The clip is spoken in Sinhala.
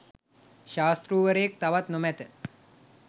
ශාස්තෘවරයෙක් තවත් නොමැත.